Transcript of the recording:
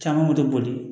Caman moto boli